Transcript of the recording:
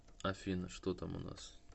афина что там у нас